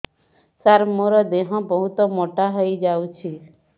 ସାର ମୋର ଦେହ ବହୁତ ମୋଟା ହୋଇଯାଉଛି